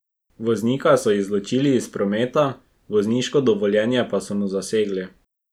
Voznika so izločili iz prometa, vozniško dovoljenje pa so mu zasegli.